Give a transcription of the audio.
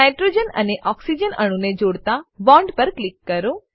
nitrogen અને oxygen અણુને જોડતા બોન્ડ પર ક્લિક કરો